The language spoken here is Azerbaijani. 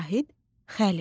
Zahid Xəlil.